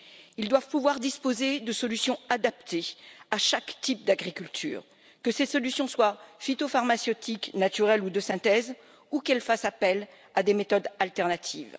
Ils doivent pouvoir disposer de solutions adaptées à chaque type d'agriculture, que ces solutions soient phytopharmaceutiques, naturelles ou de synthèse, ou qu'elles fassent appel à des méthodes alternatives.